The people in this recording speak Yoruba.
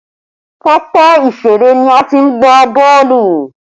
Pápá ìṣeré ni a ti ń gbá boolu